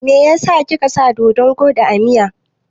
Meyasa kika sa doɗon kwaɗi a miya?